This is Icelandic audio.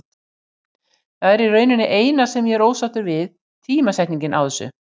Það er í rauninni eina sem ég er ósáttur við, tímasetningin á þessu.